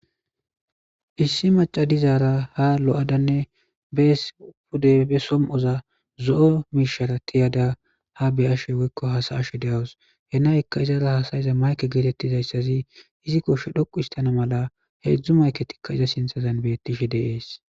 Issi macay dizara ha lo'adanne bees pude be som'oza zo'o miishara tiyada haa beyashe woyko hasayashe deyaws he nayaka izara hasayiza fwoyko mayke getetizaysati izi kooshe dhoquhitana mala hezhu mayketi izi sinthazan beetishe de'es.